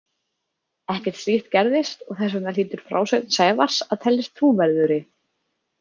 Ekkert slíkt gerðist og þess vegna hlýtur frásögn Sævars að teljast trúverðugri.